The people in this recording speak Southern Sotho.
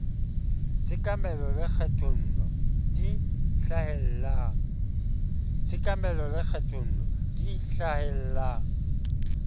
tshekamelo le kgethollo di hlahellang